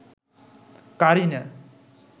Kareena